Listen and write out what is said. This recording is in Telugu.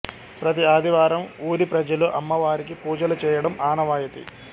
ప్రతి ఆదివారం ఊరి ప్రజలు అమ్మవారికి పూజలు చేయడం ఆనవాయతి